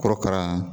Korokara